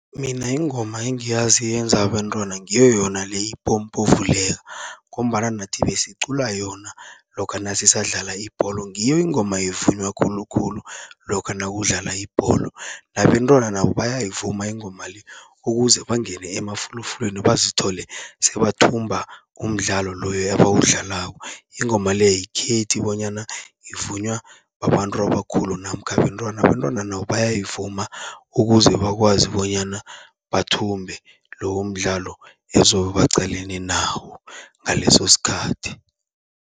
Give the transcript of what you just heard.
Mina ingoma engiyazi yenza abentwana ngiyo yona le ipompo vuleka, ngombana nathi besicula yona lokha nasisadlala ibholo. Ngiyo ingoma evunywa khulukhulu lokha nakudlala ibholo. Nabentwana nabo bayayivuma ingoma le, ukuze bangene emafulufulwini bazithole sebathumba umdlalo loyo ebawudlalako. Ingoma le ayikhethi bonyana ivunywa babantu abakhulu namkha abentwana, abentwana nabo bayayivuma ukuze bakwazi bonyana bathumbe lowo mdlalo ezobe baqalene nawo ngalesosikhathi.